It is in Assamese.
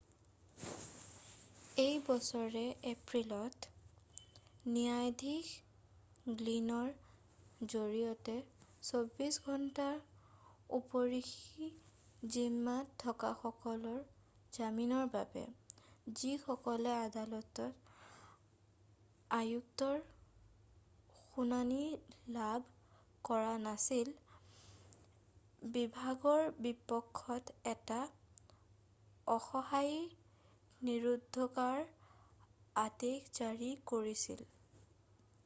এই বছৰৰে এপ্ৰিলত ন্যায়াধীশ গ্লিনৰ জৰিয়তে 24 ঘণ্টাৰ উপৰঞ্চি জিম্মাত থকাসকলৰ জামিনৰ বাবে যিসকলে আদালতৰ আয়ুক্তৰ শুনানি লাভ কৰা নাছিল বিভাগৰ বিপক্ষত এটা অস্থায়ী নিৰোধকৰ আদেশ জাৰি কৰিছিল